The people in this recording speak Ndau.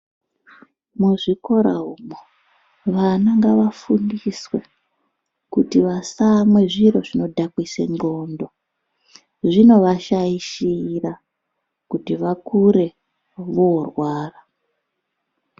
Muzvikora umwo vana ngavafundiswe kuti vasamwe zviro zvinodhakwise ndxondo. Zvinovashaishira kuti vakure vorwara.